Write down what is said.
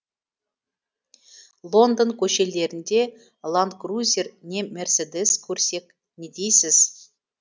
лондон көшелерінде ланд крузер не мерседес көрсек не дейсіз